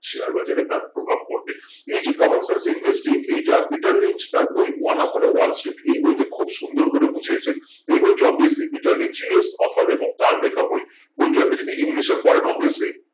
share বাজারে তার প্রভাব পরবে এই যে common sense interest এইটা peter lynch তার বই one up on wall street এই বইতে খুব সুন্দর করে বুঝিয়েছেন এই বইটি obviously peter lynch jio's author এবং তার লেখা বই বইটা আপনি যদি english এ পড়েন obviously